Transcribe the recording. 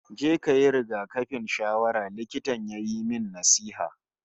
"Je kayi rigakafin ciwon shawara", Likitan ya yi min nasiha